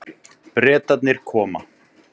Bretarnir koma.